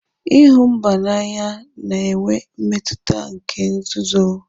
ịhụ mba n'anya ya na-enwe mmetụta nke nzuzu.